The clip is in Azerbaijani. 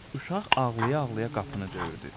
Uşaq ağlaya-ağlaya qapını döyürdü.